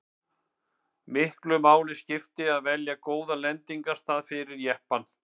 miklu máli skipti að velja góðan lendingarstað fyrir jeppann